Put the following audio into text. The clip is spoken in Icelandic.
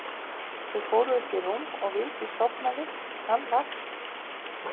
Þau fóru upp í rúm og Vigdís sofnaði en hann vakti.